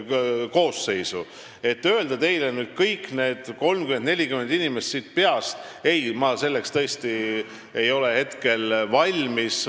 Selleks, et öelda teile nüüd peast kõik need 30–40 inimest, ma tõesti ei ole hetkel valmis.